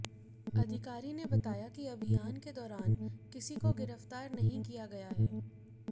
अधिकारी ने बताया कि अभियान के दौरान किसी को गिरफ्तार नहीं किया गया है